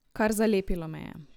Kar zalepilo me je.